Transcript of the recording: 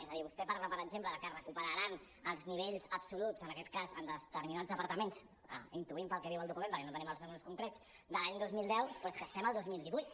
és a dir vostè parla per exemple de que recuperaran els nivells absoluts en aquest cas de determinats departaments ho intuïm pel que diu el document perquè no tenim els números concrets de l’any dos mil deu però és que estem al dos mil divuit